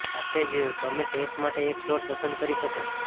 સાથે જ તમે ટેસ્ટ માટે એક સ્લોટ પસંદ કરી શકો છો